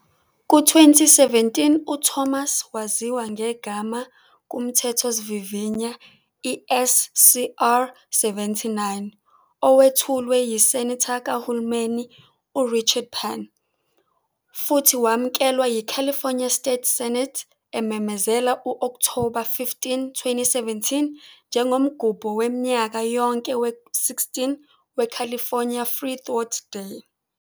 Ku-2017, uThomas waziwa ngegama kumthethosivivinywa, i-SCR-79, owethulwe yiSenator kahulumeni uRichard Pan, futhi wamukelwa yiCalifornia State Senate, ememezela u-Okthoba 15, 2017 njengomgubho waminyaka yonke we-16 weCalifornia Freethought Day.